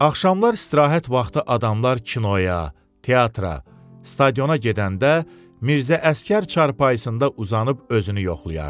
Axşamlar istirahət vaxtı adamlar kinoya, teatra, stadiona gedəndə Mirzə Əsgər çarpayısında uzanıb özünü yoxlayardı.